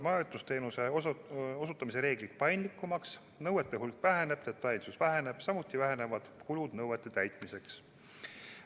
Majutusteenuse osutamise reeglid muutuvad paindlikumaks, nõuete hulk väheneb, detailsus väheneb, samuti vähenevad kulud nõuete täitmiseks.